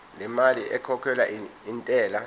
lemali ekhokhelwa intela